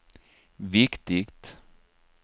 viktigt